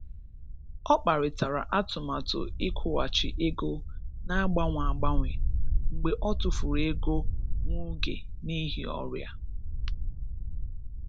Ọ kparịtara atụmatụ ịkwụghachi ego na-agbanwe agbanwe mgbe ọ tụfuru ego nwa oge n'ihi ọrịa.